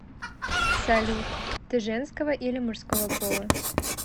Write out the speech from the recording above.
салют ты женского или мужского пола